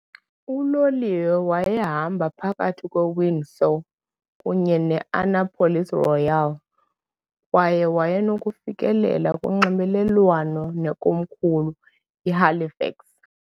Uloliwe wayehamba phakathi kweWindsor kunye ne-Annapolis Royal kwaye wayenokufikelela kunxibelelwano nekomkhulu iHalifax.